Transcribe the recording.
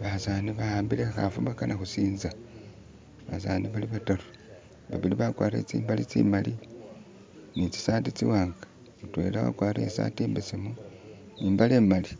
Basani bawambile ikhafu bakana khusinza basani bali bataru babili bakwarire tsimbale tsimali ni tsisaati tsiwanga, mutwela akwarire isaati imbesemu ne imbale imali